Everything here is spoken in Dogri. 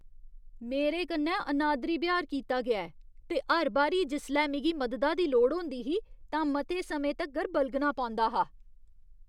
मेरे कन्नै अनादरी ब्यहार कीता गेआ ऐ ते हर बारी जिसलै मिगी मददा दी लोड़ होंदी ही तां मते समें तक्कर बलगना पौंदा हा।